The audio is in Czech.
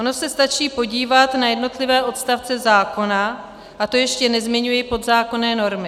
Ono se stačí podívat na jednotlivé odstavce zákona, a to ještě nezmiňuji podzákonné normy.